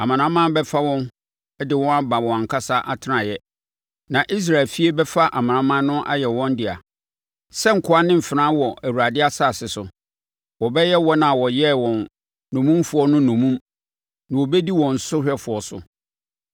Amanaman bɛfa wɔn de wɔn aba wɔn ankasa atenaeɛ. Na Israel efie bɛfa amanaman no ayɛ wɔn dea sɛ nkoa ne mfenaa wɔ Awurade asase so. Wɔbɛyɛ wɔn a wɔyɛɛ wɔn nnommumfoɔ no nnommum na wɔbɛdi wɔn sohwɛfoɔ so.